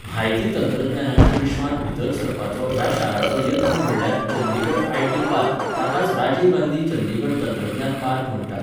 म्हायती तंत्रज्ञानाच्या विश्र्वांत भीतर सरपाचो ह्या शाराचो यत्न म्हटल्यार चंदिगड आय.टी. पार्क ताकाच राजीव गांधी चंदिगड तंत्रज्ञान पार्क म्हणटात.